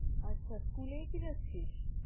আচ্ছা school এই কি যাচ্ছিস?